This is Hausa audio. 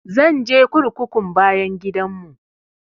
Zan je kurkukun bayan gidan mu